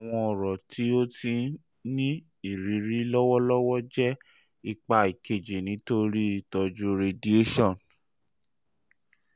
awọn ọrọ ti o ti n ni iriri lọwọlọwọ jẹ ipa keji nitori itọju radiation